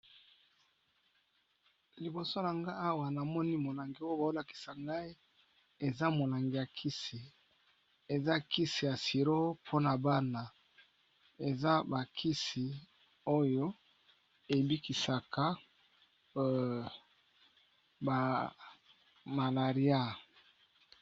Libosonanga awa namoni molangi oyo bawolakisanga eza molangi yakisi eza kisi ya suro ponabana eza bakisi oyo ebikisaka oyo ba malaria